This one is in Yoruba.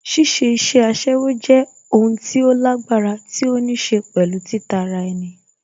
Ṣíṣe iṣẹ́ aṣẹ́wó jẹ́ o n tí ó lágbára tí ó níṣe pẹ̀lú títa ara ẹni